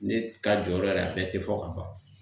Ne ka jɔyɔrɔ yɛrɛ, a bɛɛ te fɔ ka ban.